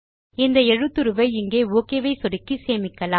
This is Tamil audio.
இந்த எழுத்துருவை இங்கே ஒக் ஐ சொடுக்கி சேமிக்கலாம்